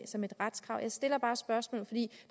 som et retskrav jeg stiller bare spørgsmålet